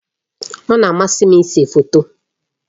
Ọ na-amasị m ịse foto.